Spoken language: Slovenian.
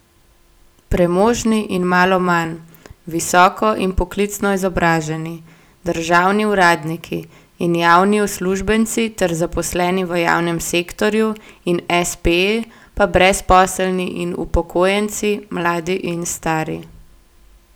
Premožni in malo manj, visoko in poklicno izobraženi, državni uradniki in javni uslužbenci ter zaposleni v javnem sektorju in espeji, pa brezposelni in upokojenci, mladi in stari.